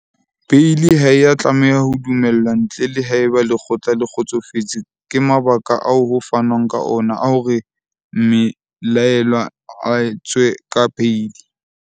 Beili ha e a tlameha ho dumellwa ntle le haeba lekgotla le kgotsofetse ke mabaka ao ho fanwang ka ona a hore mme laellwa a tswe ka beili.